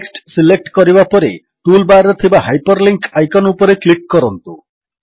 text select କରିବା ପରେ tool bar ରେ ଥିବା ହାଇପରଲିଙ୍କ୍ ଆଇକନ୍ ଉପରେ କ୍ଲିକ୍ କରନ୍ତୁ